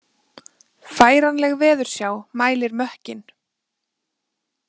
Færanleg veðursjá mælir mökkinn